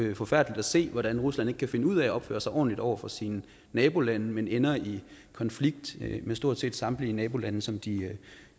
jo forfærdeligt at se hvordan rusland ikke kan finde ud af at opføre sig ordentligt over for sine nabolande men ender i konflikt med stort set samtlige nabolande som de